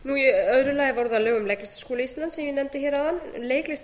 í öðru lagi voru það lög um leiklistarskóla íslands sem ég nefndi hér áðan leiklistarmenntun